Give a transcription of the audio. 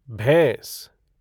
भैंस